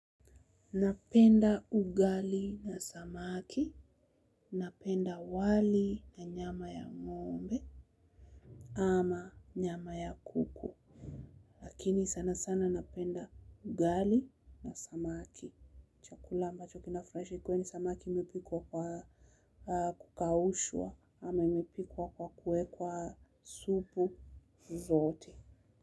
Napenda ugali na samaki, napenda wali na nyama ya ng'ombe ama nyama ya kuku. Lakini sana sana napenda ugali na samaki. Chakula ambacho kinafurahisha ikiwa ni samaki imepikwa kwa kukaushwa ama imepikwa kwa kuwekwa supu zote.